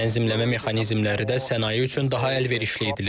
Tənzimləmə mexanizmləri də sənaye üçün daha əlverişli edilir.